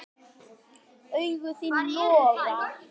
Augu þín loga.